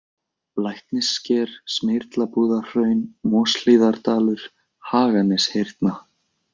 Læknissker, Smyrlabúðarhraun, Moshlíðardalur, Haganeshyrna